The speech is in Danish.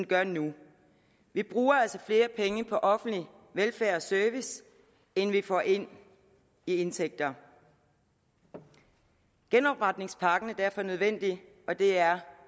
gør nu vi bruger altså flere penge på offentlig velfærd og service end vi får ind i indtægter genopretningspakken er derfor nødvendig og det er